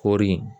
Kɔɔri